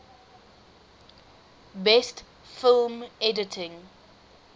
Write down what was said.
best film editing